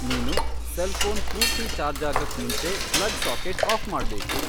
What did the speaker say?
ನೀನು ಸೆಲ್ಫೋನ್ ಪೂರ್ತಿ ಛಾರ್ಜಾಗಕ್ ಮುಂಚೆ ಪ್ಲಗ್ ಸಾಕೆಟ್ ಆಫ್ ಮಾಡ್ಬೇಕು